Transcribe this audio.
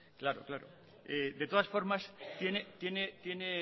de todas formas